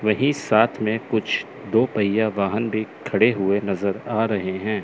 वही साथ में कुछ दो पहिया वाहन भी खड़े हुए नजर आ रहे हैं।